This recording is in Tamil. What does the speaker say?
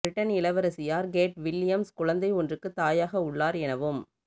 பிரிட்டன் இளவரசியார் கேட் வில்லியம்ஸ் குழந்தை ஒன்றுக்குத் தாயாக உள்ளார் எனவும்